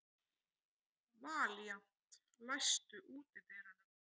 Valíant, læstu útidyrunum.